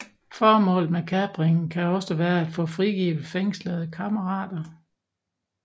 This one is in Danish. Formålet med kapringen kan også være at få frigivet fængslede kammerater